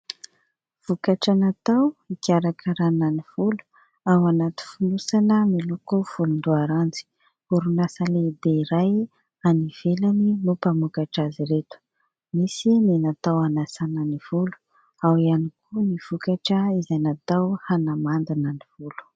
Vokatra natao hikarakarana ny volo ao anaty fonosana miloko volondoaranjy. Orinasa lehibe iray any ivelany no mpamokatra azy ireto. Misy ny natao hanasana ny volo, ao ihany koa ny vokatra izay natao hanamandina ny volo.